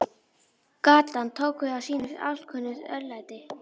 Gatan tók við af sínu alkunna örlæti.